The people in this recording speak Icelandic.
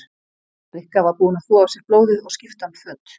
Rikka var búin að þvo af sér blóðið og skipta um föt.